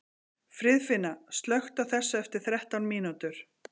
Friðfinna, slökktu á þessu eftir þrettán mínútur.